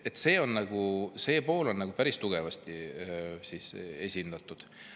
See pool on päris tugevasti esindatud.